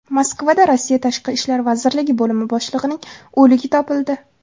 Moskvada Rossiya tashqi ishlar vazirligi bo‘limi boshlig‘ining o‘ligi topildi.